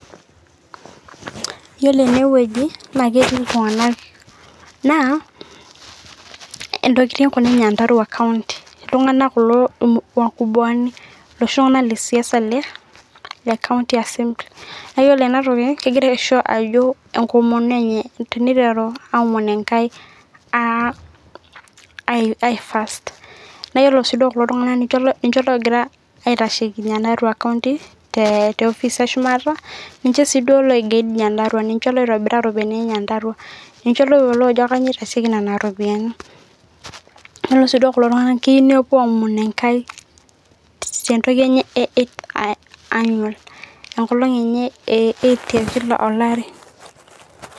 Yiolo ene weuji na keti iltunganak naa ntokitin kuna e nyandarua county, iltungana kulo wakubwani, iloshi tungana lesiasa le county assembly, na iyiolo ena toki ,kingira aisho ajo enkomono enye teniteru aomon enkai aifirst, na iyiolo si kulo tungana ninche ongira aitasheki nyandarua county te ofice e shumata, ninche si duo oiguide nyandarua, ninche oitobira loitobira iropiani e nyandarua minche oyiolo ajo kaji itasieki nena ropiani, yiolo si duo kulo tungana keyieu nepuo aomon enkai, tentoki enyee ee e annual enkolong enye e 80 tekila olari.